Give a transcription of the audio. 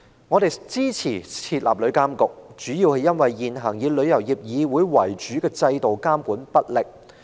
我們支持設立旅監局，主要是因為以香港旅遊業議會為主的現行制度監管不力。